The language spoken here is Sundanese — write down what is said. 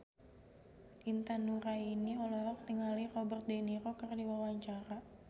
Intan Nuraini olohok ningali Robert de Niro keur diwawancara